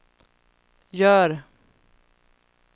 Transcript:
gör